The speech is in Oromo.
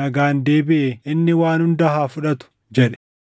nagaan deebiʼee inni waan hunda haa fudhatu” jedhe.